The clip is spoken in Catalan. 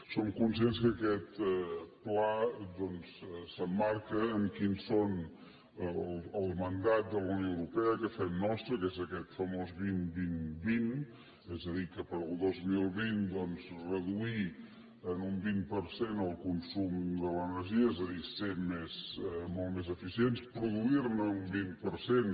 som conscients que aquest pla doncs s’emmarca en quin és el mandat de la unió europea que fem nostre que és aquest famós vint vint vint és a dir que per al dos mil vint doncs reduir en un vint per cent el consum de l’energia és a dir ser molt més eficients produir ne un vint per cent